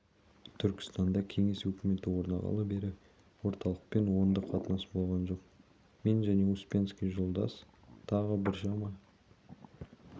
түркістанда кеңес өкіметі орнағалы бері орталықпен оңды қатынас болған жоқ мен және успенский жолдас тағы біршама